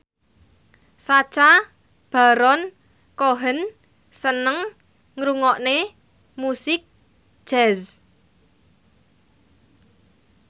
Sacha Baron Cohen seneng ngrungokne musik jazz